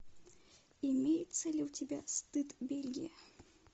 имеется ли у тебя стыд бельгия